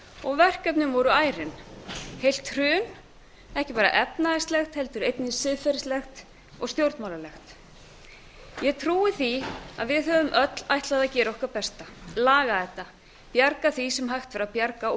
og verkefnin voru ærin heilt hrun ekki bara efnahagslegt heldur einnig siðferðislegt og stjórnmálalegt ég trúi því að við höfum öll ætlað að gera okkar besta laga þetta bjarga því sem hægt var að bjarga og